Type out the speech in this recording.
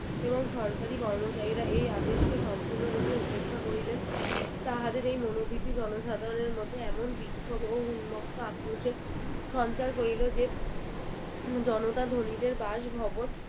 এবং সরকারি কর্মচারীরা এই আদেশকে সম্পূর্ণরূপে উপেক্ষা করিলেন তাহাদেরএই মনোবৃত্তি জনসাধারণের মধ্যে এমন বিক্ষোভ এবং উন্মুক্ত আক্রোশের সঞ্চার করিল যে জনতা ধনীদের বাসভবন